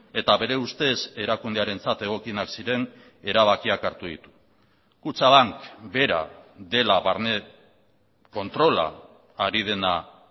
eta bere ustez erakundearentzat egokienak ziren erabakiak hartu ditu kutxabank bera dela barne kontrola hari dena